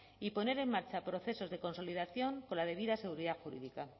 y poner en marcha procesos de consolidación con la debida seguridad jurídica